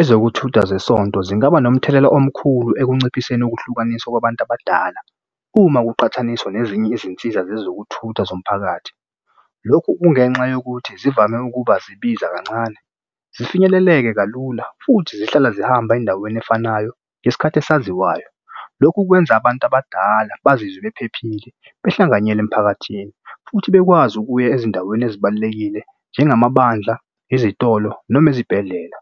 Ezokuthutha zesonto zingaba nomthelela omkhulu ekunciphiseni ukuhlukaniswa kwabantu abadala uma kuqhathaniswa nezinye izinsiza zezokuthutha zomphakathi. Lokhu kungenxa yokuthi zivame ukuba zibiza kancane, zifinyeleleke kalula futhi zihlala zihamba endaweni efanayo ngesikhathi esaziwayo. Lokhu kwenza abantu abadala bazizwe bephephile behlanganyele emphakathini futhi bekwazi ukuya ezindaweni ezibalulekile njengamabandla, izitolo noma ezibhedlela.